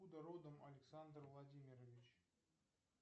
откуда родом александр владимирович